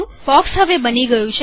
box હવે બની ગયું છે